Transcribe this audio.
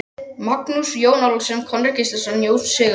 Magnússon, Jón Ólafsson, Konráð Gíslason, Jón Sigurðsson